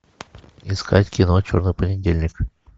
искать кино черный понедельник